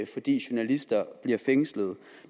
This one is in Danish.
fordi journalister bliver fængslet